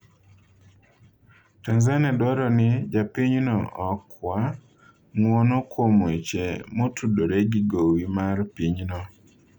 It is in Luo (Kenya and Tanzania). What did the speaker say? Tanzania dwaro ni Japinyno okwa ng'uono kuom weche motudore gi gowi mar pinyno